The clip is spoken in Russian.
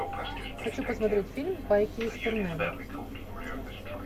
хочу посмотреть фильм байки из турне